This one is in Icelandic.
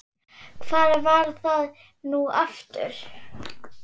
hvar var það nú aftur?